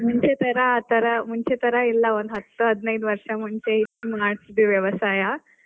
ಮುಂಚೆ ತರ ಆತರಾ ಮುಂಚೆ ತರ ಇಲ್ಲಾ ಒಂದ್ ಹತ್ ಹದ್ನೈದ್ ವರ್ಷ ಮುಂಚೆ ಮಾಡ್ತಿದ್ವಿ ವ್ಯವಸಾಯ.